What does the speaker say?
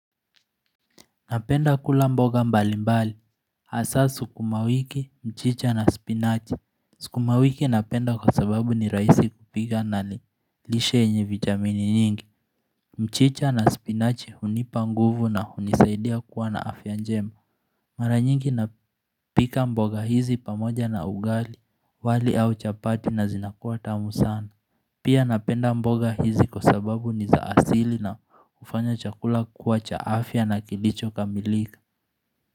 Napenda kula mboga mbali mbali, hasa sukumawiki, mchicha na spinachi. Sukumawiki napenda kwa sababu ni rahisi kupika na nilishe enye vitamini nyingi. Mchicha na spinache hunipa nguvu na hunisaidia kuwa na afyanjema. Mara nyingi napika mboga hizi pamoja na ugali, wali au chapati na zinakuwa tamu sana. Pia napenda mboga hizi kwa sababu ni zaasili na ufanya chakula kuwa cha afya na kilicho kamilika.